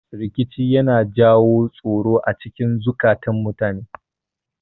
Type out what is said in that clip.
Rikici yana jawo tsoro acikin zukatun mutane